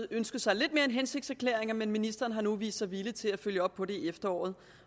ønsket sig lidt mere end hensigtserklæringer men ministeren har nu vist sig villig til at følge op på det i efteråret